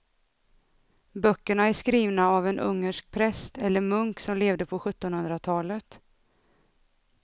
Böckerna är skrivna av en ungersk präst eller munk som levde på sjuttonhundratalet.